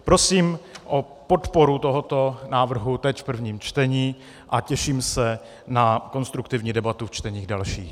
Prosím o podporu tohoto návrhu teď v prvním čtení a těším se na konstruktivní debatu v čteních dalších.